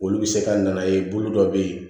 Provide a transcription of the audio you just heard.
Olu bɛ se ka na ye bolo dɔ bɛ yen